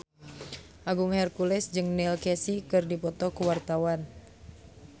Agung Hercules jeung Neil Casey keur dipoto ku wartawan